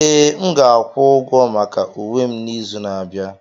Ee, m ga-akwụ ụgwọ maka uwe m n'izu na-abịa.